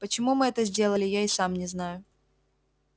почему мы это сделали я и сам не знаю